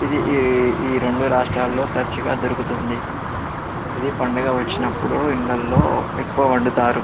ఇది ఈ రెండు రాష్టాలలో తరుచుగా దొరుకుతుంది. ఇది పాండా గ వచ్చినప్పుడు ఇండ్లలో ఎక్కువగా వండుతారు.